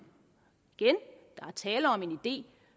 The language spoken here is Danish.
er tale om en idé